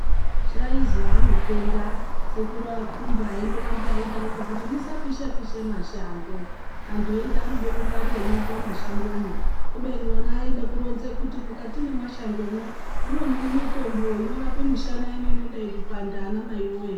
Zvaizwi anopenga sekuru aKhumba aindorambe eidaroko musapisha pisha mashango, antu eiti anoda kungwarira nyoka mumashangomwo, kubeni ona aida kuronza kuti mukati memashango mwo ndimo mune mitombo inorapa mishana inei inodai kupanda ana mai woyee.